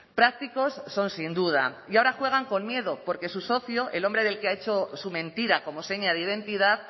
prácticos son sin duda y ahora juegan con miedo porque su socio el hombre del que ha hecho su mentira como seña de identidad